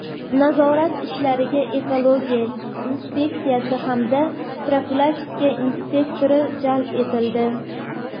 Nazorat ishlariga ekologiya inspeksiyasi hamda profilaktika inspektori jalb etildi.